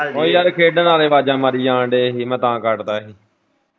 ਉਹ ਯਾਰ ਖੇਡਣ ਵਾਲੇ ਆਵਾਜਾਂ ਮਾਰੀ ਜਾਣ ਦੇ ਸੀ ਮੈਂ ਤਾਂ ਯਾਰ ਕੱਟ ਤਾਂ ਸੀ।